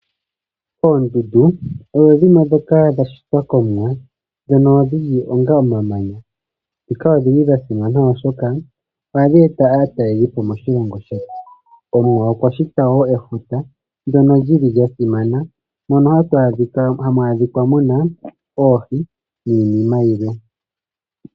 Oondundu odho dhimwe ndhoka dha shitwa kOmuwa ndhono dhi li onga omamanya. Nhika odhi li dha simana, oshoka ohadhi ete aatalelipo moshilongo shetu. Omuwa okwa shita wo efuta ndyono li li lya simana mono hamu adhika mu na oohi niinima yilwe.